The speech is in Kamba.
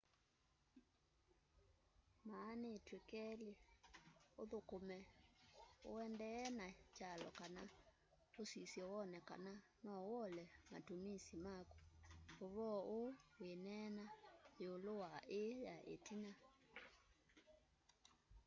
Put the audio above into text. maanîtw'e kelî: ûthûkûme ûendeeye na kyalo kana ûsisye wone kana noûole matumisi maku. ûvoo ûû wîneenea yîûlû wa îî ya îtina